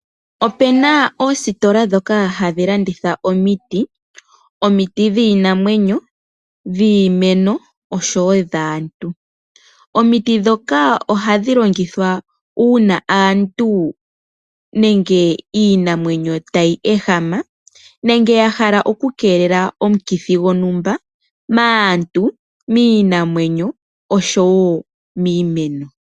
Opena oositola ndhoka hadhi landitha omiti. Omiti dhiinamwenyo, omiti dhiimeno osho wo dhaantu. Omiti ndhoka oha dhi longithwa uuna aantu nenge iinamwenyo tayi ehama, nenge ya hala oku keelela omukithi gontumba, maantu, miinamwenyo osho wo miimeno.